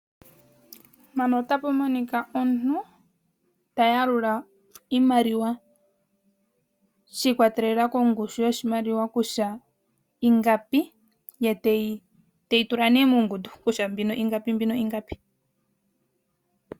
Mpano otapu monika omuntu tayalula iimaliwa shikwatelela konushu yoshimaliwa kutya ingapi ye teyi tula muungundu kutya mbino ingapi mbino ingapi.